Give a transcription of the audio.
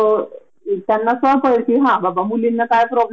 हा एक् प्रॉब्लेम होतो न तो फार त्रासदायक होत माहिती हे का?